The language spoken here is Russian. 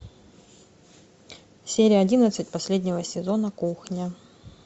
серия одиннадцать последнего сезона кухня